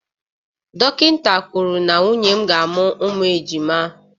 Dọkịta kwuru na nwunye m ga-amụ ụmụ ejima